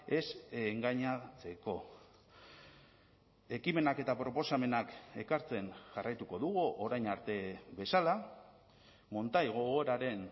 ez engainatzeko ekimenak eta proposamenak ekartzen jarraituko dugu orain arte bezala montai gogoraren